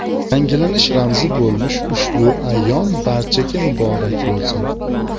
Yangilanish ramzi bo‘lmish ushbu ayyom barchaga muborak bo‘lsin.